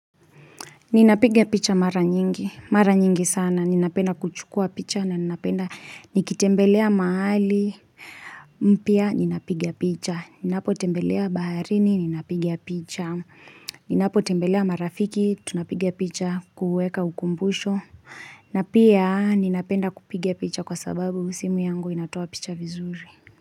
Ninapiga picha mara nyingi, mara nyingi sana, ninapenda kuchukua picha na ninapenda, nikitembelea mahali, mpya, ninapiga picha, ninapotembelea baharini, ninapiga picha, ninapotembelea marafiki, tunapiga picha, kuweka ukumbusho, na pia ninapenda kupiga picha kwa sababu simu yangu inatoa picha vizuri.